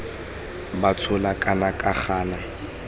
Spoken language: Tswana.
ba tshola kana ba gana